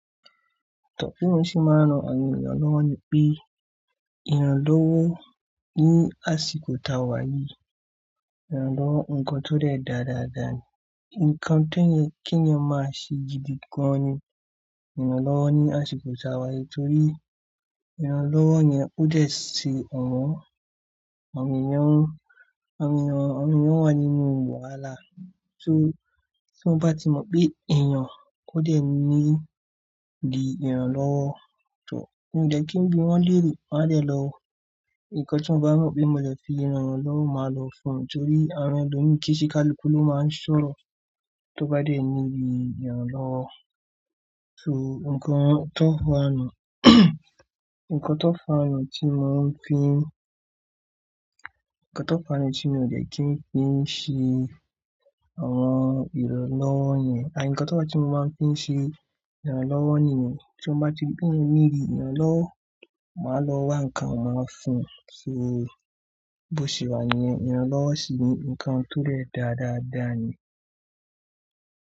Tọ́ pé mo sì máa ń rán àwọn ènìyàn lọ́wọ́ ni pé ìrànlọ́wọ́ ni àsìkò tàwà yìí, ìrànlọ́wọ́ nǹkan tó dẹ̀ da dáadáa ni. Ǹkan tó yẹ́ kí eeyan máa ṣe gidi gan-an ni ìrànlọ́wọ́ ní àsìkò ti a wà yìí torí ìrànlọ́wọ́ yẹn ó dẹ̀ ṣé àwọn àwọn ènìyàn wa nínú wàhálà. Torí tí mo bá ti mọ̀ pé èèyàn ò dẹ̀ need ìrànlọ́wọ́. Tọ́, mi ò dẹ̀ kí n bi wọ́n léèrè, wọ́n á dẹ̀ lọ. Nkan tí mo bá mọ̀ pé mo le fi ran won lowo, máa lọ fún won, torí àwọn ẹlòmíràn kí í ṣe káluku ló máa ń sọ̀rọ̀ tó bá dẹ̀ need ìrànlọ́wọ́. So ǹkan tó fàa nu, ǹkan tó fàa nu tí mò ń fi n nkan to faa nu tí mò dẹ̀ kí n fi ṣe àwọn ìrànlọ́wọ́ niyẹn and ǹkan tó fà tí mò máa ń fi ṣe ìrànlọ́wọ́ nìyẹn. Tí mo bá ti rí pe eeyan need ìrànlọ́wọ́, màá lọ wá ǹkan màá fún un. So bó ṣe wà níìyẹn, ìrànlọ́wọ́ sì ni ǹkan tó dẹ̀ dáadáa dà ni.